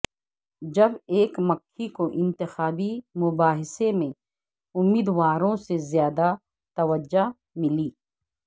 جب ایک مکھی کو انتخابی مباحثے میں امیدواروں سے زیادہ توجہ ملی